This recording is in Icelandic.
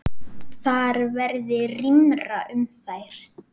Þar verði rýmra um þær.